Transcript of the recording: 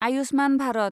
Ayushman Bharat